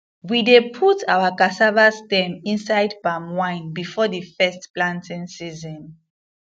we dey put our cassava stem inside palm wine before the first planting season